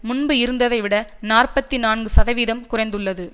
முன்பு இருந்ததைவிட நாற்பத்தி நான்கு சதவிகிதம் குறைந்துள்ளது